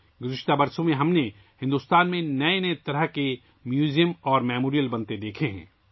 پچھلے سالوں میں بھی ہم نے بھارت میں نئی قسم کے عجائب گھر اور یادگاریں بنتے دیکھی ہیں